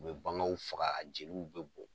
U be baganw faga, a jeliw be bɔ.